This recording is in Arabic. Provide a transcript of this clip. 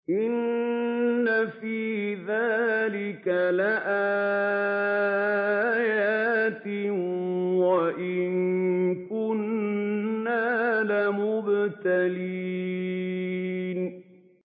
إِنَّ فِي ذَٰلِكَ لَآيَاتٍ وَإِن كُنَّا لَمُبْتَلِينَ